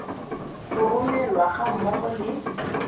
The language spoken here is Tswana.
go romelwa ga mmogo le